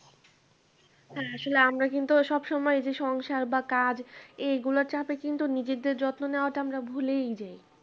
হ্যাঁ আসলে আমরা কিন্তু সবসময় যে সংসার বা কাজ এগুলোর চাপে কিন্তু নিজেদের যত্ন নেওয়াটা আমরা ভুলেই যাই